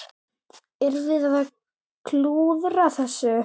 Erum við að klúðra þessu?